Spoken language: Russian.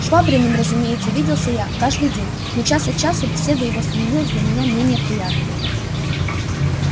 швабриным разумеется виделся я каждый день но час от часу беседа его становилась для меня менее приятною